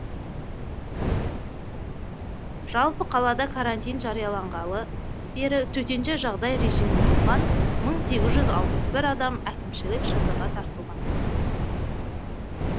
жалпы қалада карантин жарияланғалы бері төтенше жағдай режимін бұзған мың сегіз жүз алпыс бір адам әкімшілік жазаға тартылған